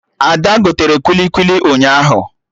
Ada gotere kwili kwili ụnyaahụ